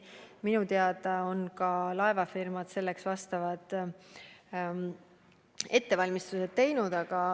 Minu teada on ka laevafirmad selleks ettevalmistused teinud.